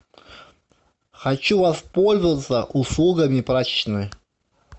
хочу воспользоваться услугами прачечной